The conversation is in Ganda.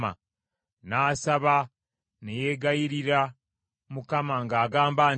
N’asaba ne yeegayirira Mukama nga agamba nti,